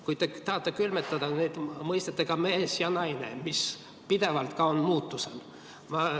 Kuid te tahate külmutada selle koos mõistetega "mees" ja "naine", mis on ka pidevalt muutuses.